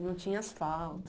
E não tinha asfalto?